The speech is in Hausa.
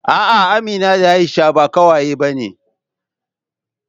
A'a, Amina da Aisha ba ƙawaye bane